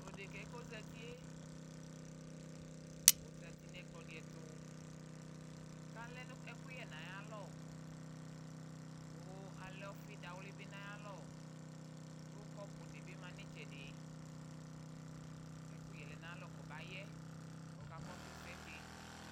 Tu ɖeka kɔzatɩe, ɔzatɩ nu ɛkplɔ ɖɩ ɛtu, kalɛ ɛkuyɛ nayalɔ, ku alɛ ɔfɩ ɖawlɩ bɩ nayalɔ Ku kɔpu ɖɩ bɩ ma nɩtsɛɖɩ Ɛkuyɛ lɛ nayalɔ kɔbayɛ, kɔka kɔsu ɛsɛ tɩ